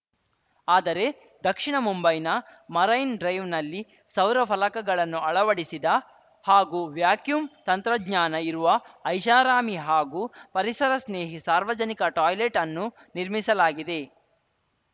ಆದರೆ ದಕ್ಷಿಣ ಮುಂಬೈನ ಮರೈನ್‌ ಡ್ರೈವ್‌ನಲ್ಲಿ ಸೌರ ಫಲಕಗಳನ್ನು ಅಳವಡಿಸಿದ ಹಾಗೂ ವ್ಯಾಕ್ಯೂಮ್‌ ತಂತ್ರಜ್ಞಾನ ಇರುವ ಐಷಾರಾಮಿ ಹಾಗೂ ಪರಿಸರ ಸ್ನೇಹಿ ಸಾರ್ವಜನಿಕ ಟಾಯ್ಲೆಟ್‌ ಅನ್ನು ನಿರ್ಮಿಸಲಾಗಿದೆ